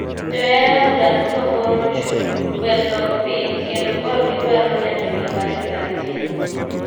Johera adhula duto koro ochung' ,wer dok piny kendo koro gidwaro neno gima refari timo ,